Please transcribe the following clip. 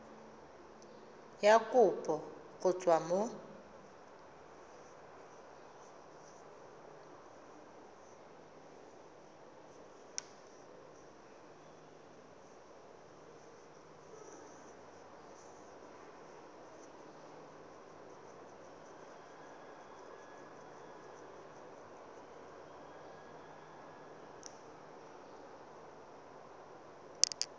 ya kopo go tswa mo